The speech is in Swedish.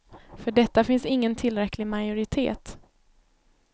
För detta finns ingen tillräcklig majoritet.